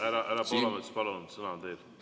Härra Poolamets, palun, sõna on teil!